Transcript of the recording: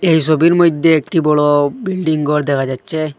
এই সবির মইদ্যে একটি বড় বিল্ডিং গর দেখা যাচ্চে।